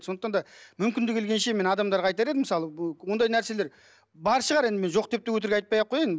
сондықтан да мүмкіндігі келгенше мен адамдарға айтар едім мысалы ондай нәрселер бар шығар енді мен жоқ деп те өтірік айтпай ақ қояйын